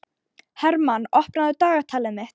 Hermann, opnaðu dagatalið mitt.